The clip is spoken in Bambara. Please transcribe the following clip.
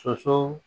Soso